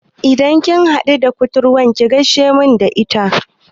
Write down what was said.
Idan kin haɗu da kuturwar ki gaishe main da ita